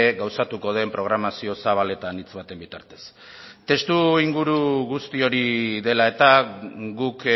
gauzatuko den programazio zabaletan hitz baten bitartez testuinguru guzti hori dela eta guk